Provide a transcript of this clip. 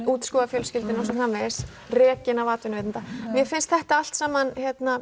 útskúfuð af fjölskyldunni osrfv rekin af atvinnuveitenda mér finnst þetta allt saman